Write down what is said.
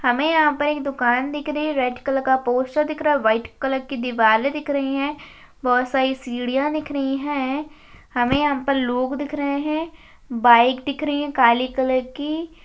हमें यहां पर एक दुकान दिख रही है रेड कलर का पोस्टर दिख रहा है व्हाईट कलर की दीवारे दिख रही है बहुत सारी सीढ़ियां दिख रही है हमें यहां पर लोग दिख रहे हैं बाइक दिख रही है काली कलर की।